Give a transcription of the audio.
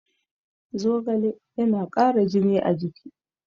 Zogale yana ƙara jini a jiki